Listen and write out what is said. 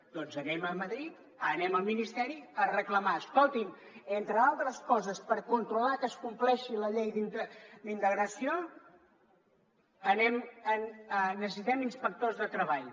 doncs anem a madrid anem al ministeri a reclamar ho escolti’m entre altres coses per controlar que es compleixi la llei d’integració necessitem inspectors de treball